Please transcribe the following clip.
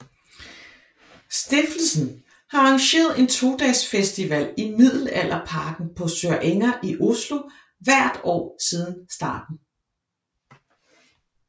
Stiftelsen har arrangeret en to dages festival i Middelalderparken på Sørenga i Oslo hvert år siden starten